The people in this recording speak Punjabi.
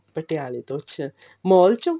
ਪਟਿਆਲੇ ਤੋਂ ਅੱਛਾ mall ਚੋਂ